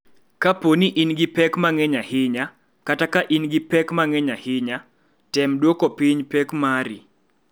Kapo ni in gi pek mang�eny ahinya kata ka in gi pek mang�eny ahinya, tem duoko piny pek mari.